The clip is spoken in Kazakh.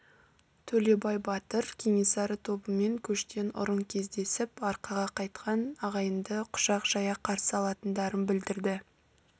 төлебай батыр кенесары тобымен көштен ұрын кездесіп арқаға қайтқан ағайынды құшақ жая қарсы алатындарын білдірді